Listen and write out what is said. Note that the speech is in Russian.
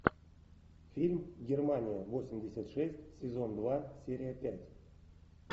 фильм германия восемьдесят шесть сезон два серия пять